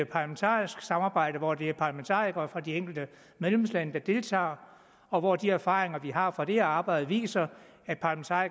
parlamentarisk samarbejde hvor det er parlamentarikere fra de enkelte medlemslande der deltager og hvor de erfaringer som vi har fra det arbejde viser